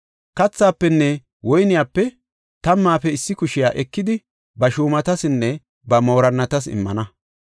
Kathaafenne woyniyape tammaafe issi kushiya ekidi ba shuumatasinne ba moorinnatas immana.